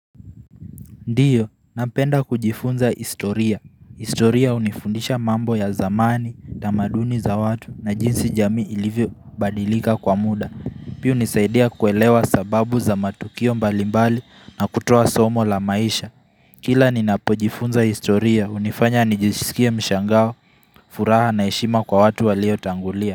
Ndio, napenda kujifunza historia. Historia unifundisha mambo ya zamani tamaduni za watu na jinsi jami ilivyo badilika kwa muda. Pia hunisaidia kuelewa sababu za matukio mbalimbali na kutoa somo la maisha. Kila nina pojifunza historia, hunifanya nijisilkie mshangao furaha na heshima kwa watu walio tangulia.